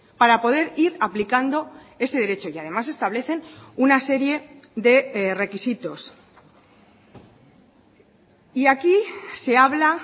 para poder ir aplicando ese derecho y además establecen una serie de requisitos y aquí se habla